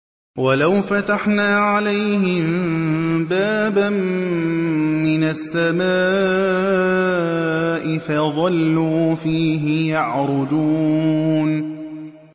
وَلَوْ فَتَحْنَا عَلَيْهِم بَابًا مِّنَ السَّمَاءِ فَظَلُّوا فِيهِ يَعْرُجُونَ